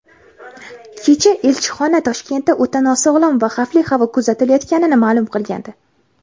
Kecha elchixona Toshkentda o‘ta nosog‘lom va xavfli havo kuzatilayotganini ma’lum qilgandi.